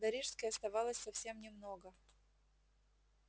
до рижской оставалось совсем немного